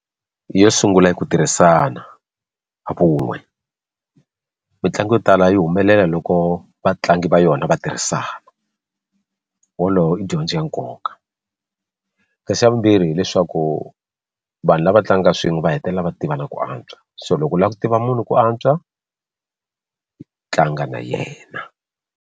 Yo sungula i ku tirhisana vun'we mitlangu yo tala yi humelela loko vatlangi va yona va tirhisana wolowo i dyondzo ya nkoka ka xa vumbirhi hileswaku vanhu lava tlangaka swin'we va hetelela va tivana ku antswa so loko u lava ku tiva munhu ku antswa tlanga na yena.